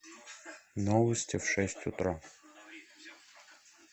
новости в шесть утра